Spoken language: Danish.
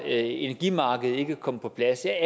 energimarked ikke er kommet på plads jeg